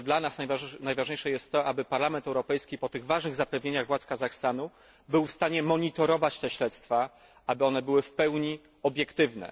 Myślę, że dla nas najważniejsze jest to, aby Parlament Europejski po tych ważnych zapewnieniach władz Kazachstanu był w stanie monitorować te śledztwa, aby one były w pełni obiektywne.